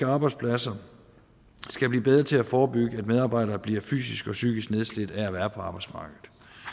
arbejdspladser skal blive bedre til at forebygge at medarbejdere bliver fysisk og psykisk nedslidte af at være på arbejdsmarkedet